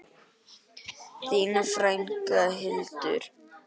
Þín frænka, Hildur.